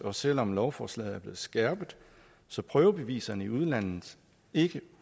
og selv om lovforslaget er blevet skærpet så prøvebeviserne i udlandet ikke